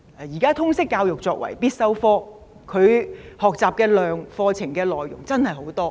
現時通識教育作為必修科，課程內容真的很多。